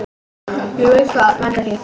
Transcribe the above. Ég veit hvað veldur því.